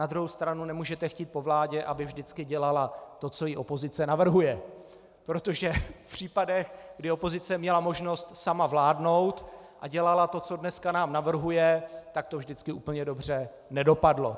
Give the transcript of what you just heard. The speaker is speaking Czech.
Na druhou stranu nemůžete chtít po vládě, aby vždycky dělala to, co jí opozice navrhuje, protože v případech, kdy opozice měla možnost sama vládnout a dělala to, co dneska nám navrhuje, tak to vždycky úplně dobře nedopadlo.